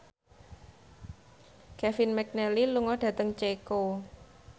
Kevin McNally lunga dhateng Ceko